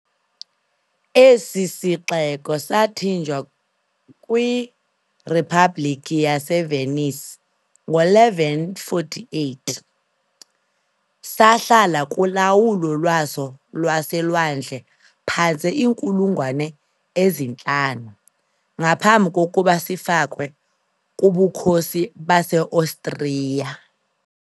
Esi sixeko sathinjwa kwiRiphabhlikhi yaseVenice ngo-1148, sahlala kulawulo lwaso lwaselwandle phantse iinkulungwane ezintlanu, ngaphambi kokuba sifakwe kuBukhosi baseOstriya .